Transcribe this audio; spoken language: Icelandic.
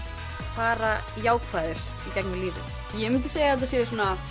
fara jákvæður í gegnum lífið ég mundi segja að þetta sé